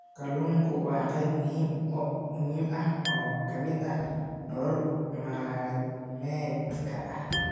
Kalluunku waa qayb muhiim ah oo ka mid ah nolol maalmeedka.